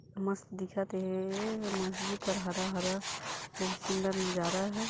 मस्त दिखत हे मस्जिद हरा हरा बोहोत सुन्दर नजारा है।